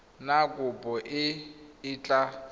na kopo e e tla